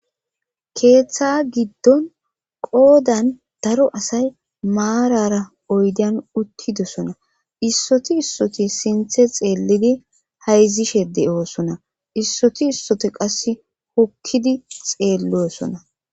Keeththa giddon qoodan daro asay maarara oydan uttidosona issoti issoti sinthe xeellidi hayzishe de7oosona issoti issoti qass hokkidi xeelloosona